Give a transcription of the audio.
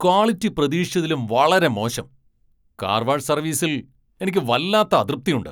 Quality പ്രതീക്ഷിച്ചതിലും വളരെ മോശം. കാർ വാഷ് സർവീസിൽ എനിക്ക് വല്ലാത്ത അതൃപ്തിയുണ്ട്.